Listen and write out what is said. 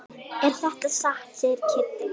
Er þetta satt? segir Kiddi.